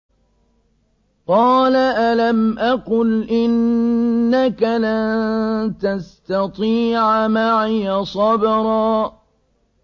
قَالَ أَلَمْ أَقُلْ إِنَّكَ لَن تَسْتَطِيعَ مَعِيَ صَبْرًا